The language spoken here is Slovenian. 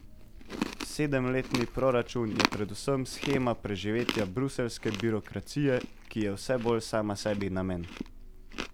Sedemletni proračun je predvsem shema preživetja bruseljske birokracije, ki je vse bolj sama sebi namen.